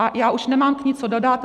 A já už nemám k ní co dodat.